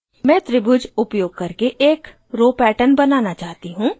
मैं त्रिभुज उपयोग करके एक row pattern बनाना चाहती row